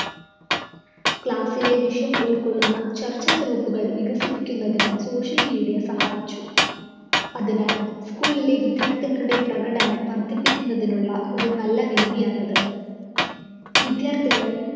class ലെ വിഷയം ഉള്‍കൊള്ളുന്ന ചര്‍ച്ച group കള്‍ വികസിപ്പിക്കുന്നതിന് social media സഹായിച്ചു. അതിനാല്‍ school ലെ വിദ്യാര്‍ത്ഥികളുടെ പ്രകടനം വര്‍ദ്ധിപ്പിക്കുന്നതിനുള്ള ഒരു നല്ല വേദിയാണത്. വിദ്യാര്‍ത്ഥികള്‍